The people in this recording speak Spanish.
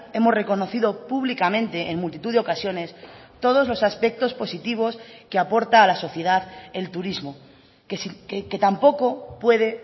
hemos reconocido públicamente en multitud de ocasiones todos los aspectos positivos que aporta a la sociedad el turismo que tampoco puede